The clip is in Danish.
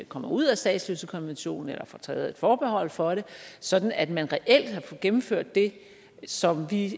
kommer ud af statsløsekonvention eller får taget et forbehold for det sådan at man reelt kan gennemføre det som vi